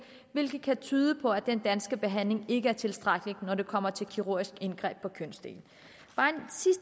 hvilket kan tyde på at den danske behandling ikke er tilstrækkelig når det kommer til kirurgisk indgreb på kønsdelene